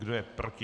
Kdo je proti?